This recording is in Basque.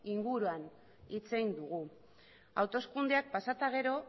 inguruan hitz egin dugu hauteskundeak pasa eta gero